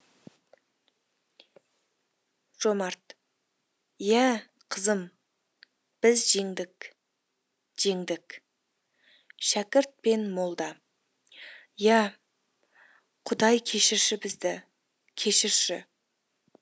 жомарт иә қызым біз жеңдік жеңдік шәкірт пен молда иә құдай кешірші бізді кешірші